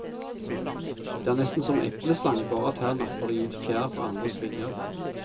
Det er nesten som epleslang, bare at her napper de ut fjær fra andres vinger.